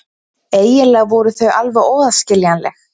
Eiginlega voru þau alveg óaðskiljanleg.